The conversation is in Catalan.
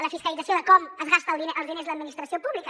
la fiscalització de com es gasta els diners l’administració pública